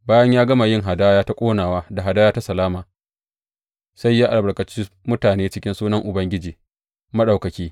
Bayan ya gama yin hadaya ta ƙonawa da hadaya ta salama, sai ya albarkaci mutane a cikin sunan Ubangiji Maɗaukaki.